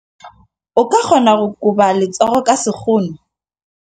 O ka kgona go koba letsogo ka sekgono.